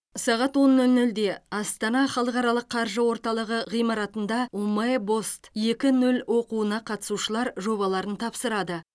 сағат он нөл нөлде астана халықаралық қаржы орталығы ғимаратында умэй бост екі нөл оқуына қатысушылар жобаларын тапсырады